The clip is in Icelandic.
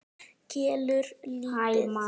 Kelur lítið.